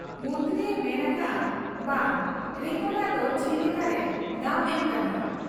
ᱢᱚᱱᱛᱨᱤᱭᱮ ᱢᱮᱱ ᱟᱠᱟᱜ ᱟ ᱵᱟᱝ ᱨᱮᱠᱚᱰᱟᱜ ᱫᱚ ᱪᱮᱫ ᱞᱮᱠᱟᱨᱮ ᱫᱟᱢ ᱮᱢ ᱜᱟᱱᱚᱜ ᱟ ?